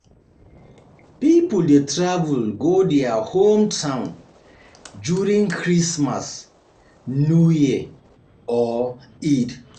Pipo de travel go their home town during christmas, new year or Eid